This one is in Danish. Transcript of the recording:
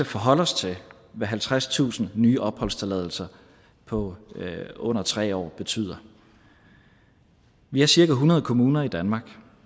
forholde os til hvad halvtredstusind nye opholdstilladelser på under tre år betyder vi har cirka hundrede kommuner i danmark